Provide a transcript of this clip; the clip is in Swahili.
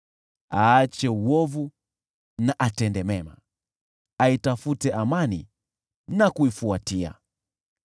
Aache uovu, atende mema, aitafute amani na kuifuatilia.